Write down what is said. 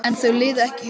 En þau liðu ekki hjá.